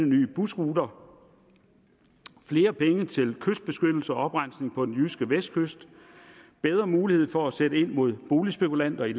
nye busruter flere penge til kystbeskyttelse og oprensning på den jyske vestkyst bedre mulighed for at sætte ind mod boligspekulanter i